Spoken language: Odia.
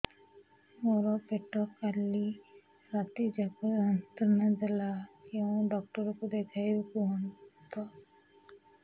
ମୋର ପେଟ କାଲି ରାତି ଯାକ ଯନ୍ତ୍ରଣା ଦେଲା କେଉଁ ଡକ୍ଟର ଙ୍କୁ ଦେଖାଇବି କୁହନ୍ତ